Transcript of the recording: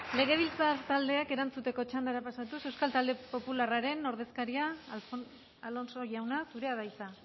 legebiltzar taldeak erantzuteko txandara pasatuz euskal talde popularraren ordezkaria alonso jauna zurea da hitza